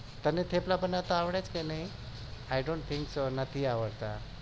તમને થેપલા બનાવતા આવે છે કે નહિ i don't think કે નથી આવડતા